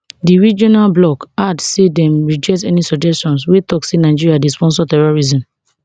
di regional bloc add say dem reject any suggestions wey tok say nigeria dey sponsor terrorism